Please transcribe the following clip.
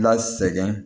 La sɛgɛn